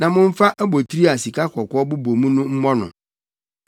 na momfa abotiri a sikakɔkɔɔ bobɔ mu no mmɔ no.